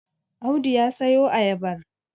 Audu ya siyo ayabar?